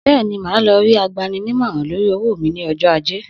Bẹ́ẹ̀ni, màá lọ rí agbaninímọ́ràn lórí owó mí ní ọjọ́ Ajé.